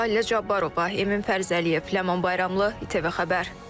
Səlilə Cabbarova, Emin Fərzəliyev, Ləman Bayramlı, ATV Xəbər.